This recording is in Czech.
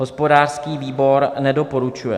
Hospodářský výbor nedoporučuje.